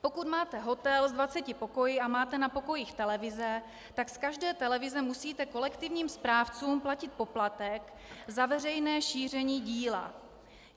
Pokud máte hotel s 20 pokoji a máte na pokojích televize, tak z každé televize musíte kolektivním správcům platit poplatek za veřejné šíření díla.